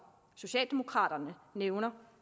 socialdemokraterne nævner